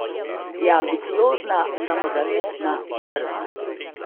Je ambiciozna, samozavestna, drzna.